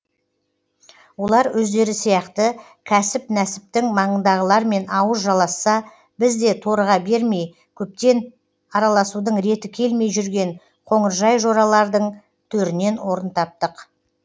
олар өздері сияқты кәсіп нәсіптің маңындағылармен ауыз жаласса біз де торыға бермей көптен араласудың реті келмей жүрген қоңыржай жоралардың төрінен орын таптық